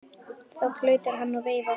Þá flautar hann og veifar.